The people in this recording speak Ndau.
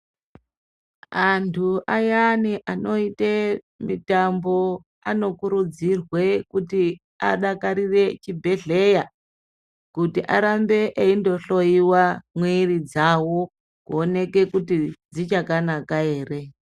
Antu ayani anoite mitambo anokurudzirwe kuti adakarire chibhehleya kuti arambe eindoihlowa miridzavo kuonekekuti dzichakanaka ere.